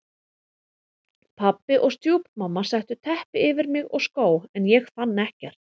Pabbi og stjúpmamma settu teppi yfir mig og skó en ég fann ekkert.